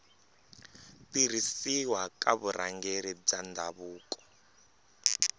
tirhisiwa ka vurhangeri bya ndhavuko